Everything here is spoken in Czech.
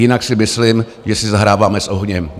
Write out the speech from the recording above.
Jinak si myslím, že si zahráváme s ohněm.